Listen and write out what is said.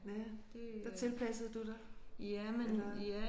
Ja der tilpassede du dig eller?